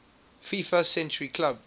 fifa century club